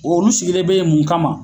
Olu sigilen be mun kama